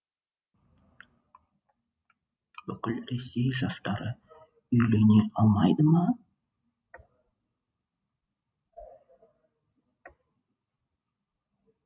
бүкіл ресей жастары үйлене алмайды ма